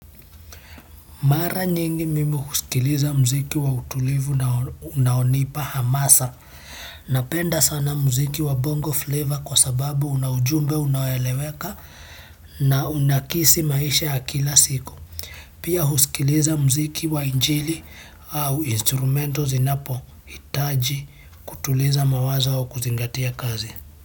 Mara nyingi mimi kusikiliza mziki wa utulivu na unaonipa hamasa. Napenda sana mziki wa bongo flavor kwa sababu una ujumbe unaoeleweka na unakisi maisha ya kila siku. Pia husikiliza mziki wa injili au instrumento zinapo hitaji kutuliza mawazo au kuzingatia kazi.